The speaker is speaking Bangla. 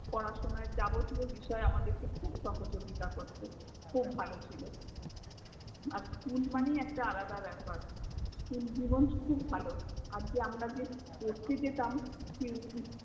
পড়াশোনায় বিষয় আমাদেরকে খুব সহযোগিতা করত খুব ভালো ছিল আর school মানেই একটা আলাদা ব্যাপার, school জীবণ খুব ভালো আর যে আমরা যে পরতে যেতাম